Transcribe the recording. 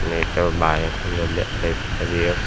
इथे बाया थांबलेले आहेत आणि एक--